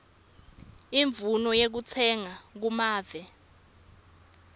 imvumo yekutsenga kumave